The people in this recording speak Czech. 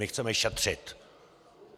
My chceme šetřit!